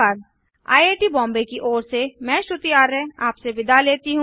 I I T Bombay की ओर से मैं रवि कुमार अब आपसे विदा लेता हूँ